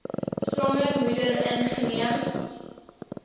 swanger moeder ingeneem